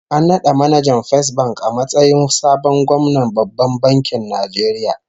An nada manajan Fesbank a matsayin sabon gwamnan Babban Bankin Nigeria